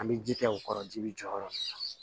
An bɛ ji kɛ o kɔrɔ ji bi jɔyɔrɔ min na